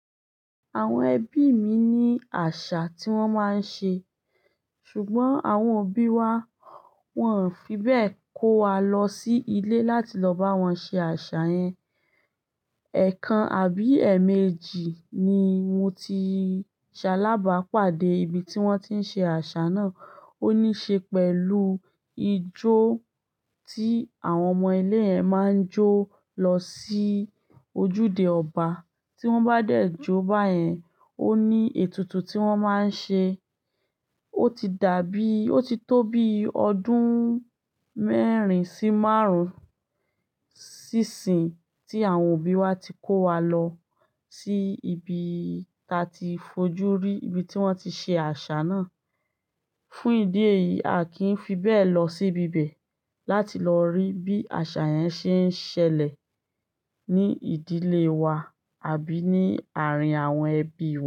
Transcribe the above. Àwọn ẹbí mi ní àṣà tí wọ́n máa ń ṣe, ṣùgbọ́n àwọn òbí wa wọǹ fi bẹ́ẹ̀ kó wa lọ sí ilé láti lọ bá wọn ṣe àṣà yẹn. Ẹ̀kan àbí ẹ̀ẹ̀mejì ni mo ti ṣàlá bápàdé ibi tí wọ́n ti ń ṣe àṣà náà. Ó níí ṣe pẹ̀lú ijó tí àwọn ọmọ ilé yẹn máa ń jó lọ sí ojúde ọba. Tí wọ́n bá dẹ̀ jó báyẹn, ó ní ètùtù tí wọ́n máa ń ṣe. Ó ti dàbí, ó ti tó bí ọdún mẹ́rin sí márùn-ún sí sìyín tí àwọn òbí wa ti kó wa lọ sí ibi ta ti fojú rí, ibi tí wọ́n ti ṣe àṣà náà. Fún ìdí èyí, a kì í fi bẹ́ẹ̀ lọ sí ibi bẹ̀ láti lọ rí bí àṣà yẹn ṣe ń ṣẹlẹ̀ ní ìdílé wa àbí ní àárín àwọn ẹbí wa.